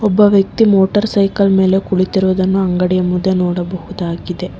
ಒಬ್ಬ ವ್ಯಕ್ತಿ motor cycle ಮೇಲೆ ಕುಳಿತಿರುವುದನ್ನು ಅಂಗಡಿಯ ಮುಂದೆ ನೋಡಬಹುದಾಗಿದೆ.